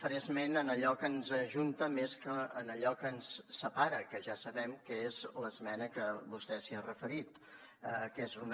faré esment d’allò que ens ajunta més que d’allò que ens separa que ja sabem que és l’esmena que vostè s’hi ha referit que és una